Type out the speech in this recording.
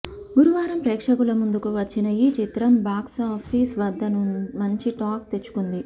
గురువారం ప్రేక్షకుల ముందుకు వచ్చిన ఈ చిత్రం బాక్సాఫీస్ వద్ద మంచి టాక్ తెచ్చుకుంది